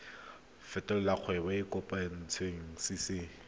fetolela kgwebo e e kopetswengcc